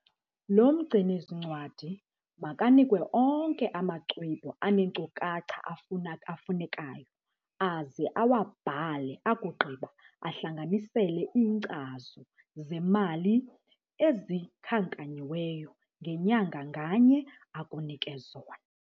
Lo mgcini-zincwadi makanikwe onke amaxwebhu aneenkcukacha afunekayo aze awabhale akugqiba ahlanganisele iinkcazo zemali ezikhankanyiweyo ngenyanga nganye akunike zona.